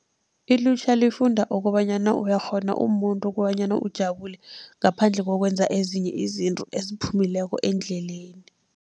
Ilutjha lifunda kobanyana uyakghona umumuntu kobanyana ujabule, ngaphandle kokwenza ezinye izinto eziphumileko endleleni.